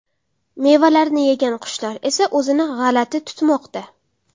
Mevalarni yegan qushlar esa o‘zini g‘alati tutmoqda.